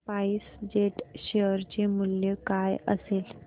spice jet share चे मूल्य काय असेल